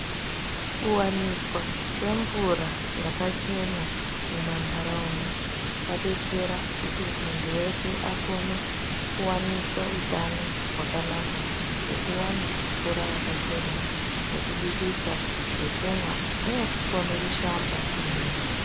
Kuwaniswa kwemvura yakachena mumantaraunda kwadetsera kuti muntu wese akone kuwaniswa utano hwakanaka ngekuwana mvura yakachena yekubikisa, yekumwa neyekukone kushamba kwemene.